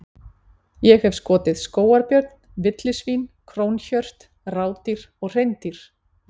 Ég hef skotið skógarbjörn, villisvín, krónhjört, rádýr og hreindýr.